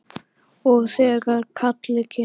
Og þegar kallið kemur.